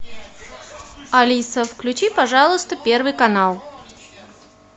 алиса включи пожалуйста первый канал